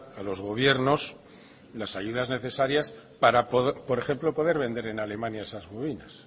a los gobiernos las ayudas necesarias para por ejemplo poder vender en alemania esas bovinas